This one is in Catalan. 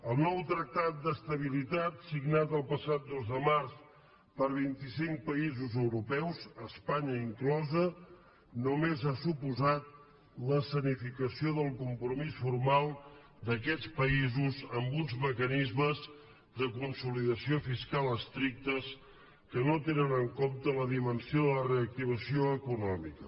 el nou tractat d’estabilitat signat el passat dos de març per vint i cinc països europeus espanya inclosa només ha suposat l’escenificació del compromís formal d’aquests països amb uns mecanismes de consolidació fiscal estrictes que no tenen en compte la dimensió de la reactivació econòmica